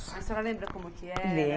A senhora lembra como que era?